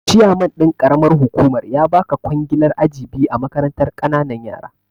Chiyaman ɗin karamar hukumar ya baka ƙwangilar aji biyu a makarantar kananan yara